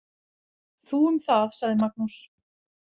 Þú um það, sagði Magnús.